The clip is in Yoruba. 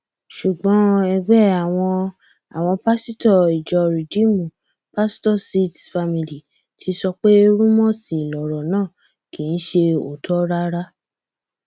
ṣùgbọn ẹgbẹ àwọn àwọn pásítọ ìjọ ridiimú pastorsseeds family ti sọ pé rúmọọsì lọrọ náà kì í ṣe òótọ rárá